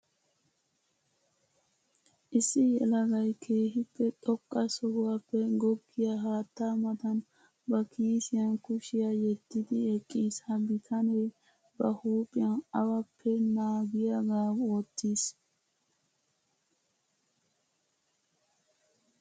Issi yelagay keehippe xoqqa sohuwappe goggiya haatta matan ba kiissiyan kushiya yediddi eqqiis. Ha bitane ba huuphiyan awappe naagiyaga wotiis.